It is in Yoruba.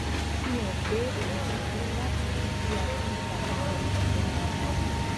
fi hàn pé òun ti pinnu láti mú kí a tún padà fọkàn tán ara wa